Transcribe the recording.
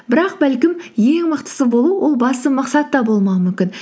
бірақ бәлкім ең мықтысы болу ол басты мақсат та болмауы мүмкін